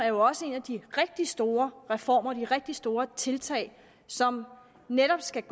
jo også en af de rigtig store reformer de rigtig store tiltag som netop skal